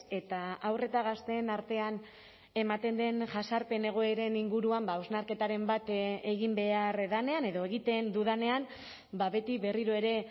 eta haur eta gazteen artean ematen den jazarpen egoeren inguruan hausnarketaren bat egin behar denean edo egiten dudanean beti berriro ere